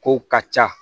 Kow ka ca